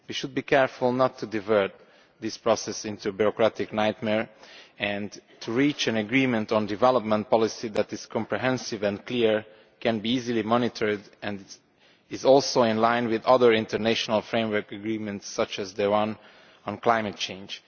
We should be careful not to divert this process into a bureaucratic nightmare but to reach an agreement on development policy that is comprehensive and clear, can be easily monitored and is also in line with other international framework agreements such as the one on climate change.